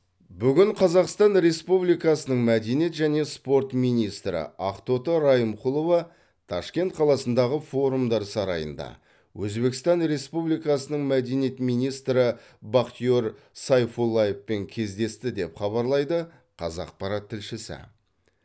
бүгін қазақстан республикасының мәдениет және спорт министрі ақтоты райымқұлова ташкент қаласындағы форумдар сарайында өзбекстан республикасының мәдениет министрі бахтиер сайфуллаевпен кездесті деп хабарлайды қазақпарат тілшісі